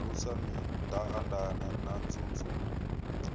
ṱalusa mindaandaane na nzunzu dzenedzi